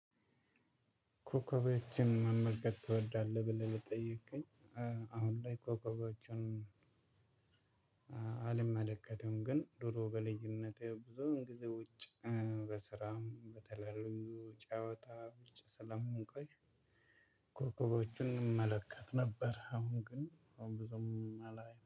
ኮከቦችን መመልከት ትወዳለህ ብለህ ለጠየቅከኝ? አሁን ላይ ኮከቦችን አልመለከትም። ግን ድሮ በልጅነቴ ብዙውን ጊዜ ውጭ በስራም በተለያዩ ጫወታዎች ስለምንቆይ ኮከቦችን እንመለከት ነበር። አሁን ግን አሁን ብዙም አላየንም